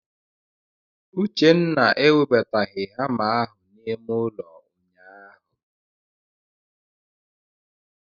Uchenna ewebataghị hama ahụ n'ime ụlọ ụnyaahụ.